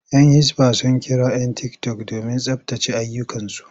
Yan hisba sun kira 'yan tiktok domin tsabtace ayyukansu.